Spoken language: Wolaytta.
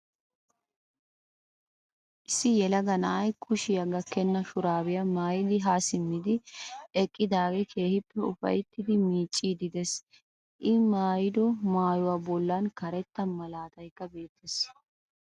Issi yelaga na'ay kushiya gakkenna shuraabiya maayidi haa simmidi eqqidaagee keehippe ufayttidi miicciiddi de'ees. I maayido maayuwa bollan karettaa malaataykka beettees.